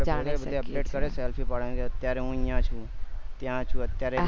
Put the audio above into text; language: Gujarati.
જાણી શકીએ update કરે છે update selfish પાડી ને કે હું અત્યારે છું